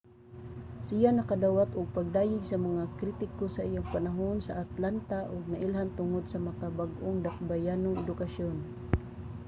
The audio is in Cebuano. siya nakadawat og pagdayeg sa mga kritiko sa iyang panahon sa atlanta ug nailhan tungod sa makabag-ong dakbayanong edukasyon